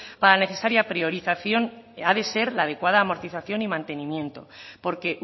para la necesario priorización ha de ser la adecuada amortización y mantenimiento porque